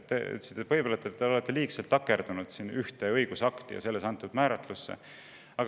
Te ütlesite, et võib-olla me oleme liigselt takerdunud ühte õigusakti ja selles antud määratlusse.